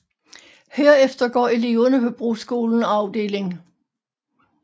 Herefter går eleverne på Broskolen afd